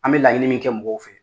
An bɛ laɲinin min kɛ mɔgɔw fɛ